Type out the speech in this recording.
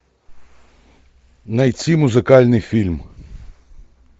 найти музыкальный фильм